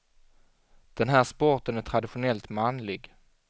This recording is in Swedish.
Den här sporten är traditionellt manlig.